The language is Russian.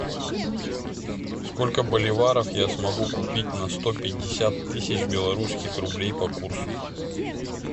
сколько боливаров я смогу купить на сто пятьдесят тысяч белорусских рублей по курсу